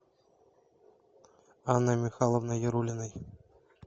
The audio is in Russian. анной михайловной яруллиной